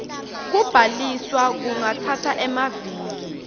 kubhaliswa kungatsatsa emaviki